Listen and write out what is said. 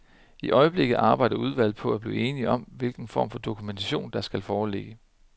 I øjeblikket arbejder udvalget på at blive enige om, hvilken form for dokumentation der skal foreligge.